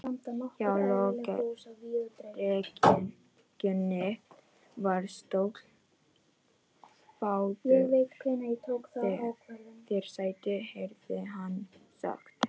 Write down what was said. Hjá lokrekkjunni var stóll: Fáðu þér sæti, heyrði hann sagt.